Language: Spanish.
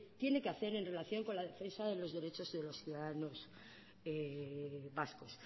tiene que hacer en relación con la defensa de los derechos de los ciudadanos vascos